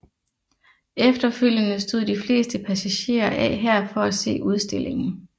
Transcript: Efterfølgende stod de fleste passagerer af her for at se udstillingen